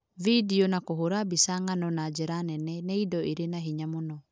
Video, na kũhũũra mbica ng'ano na njĩra nene, nĩ indo irĩ na hinya mũno.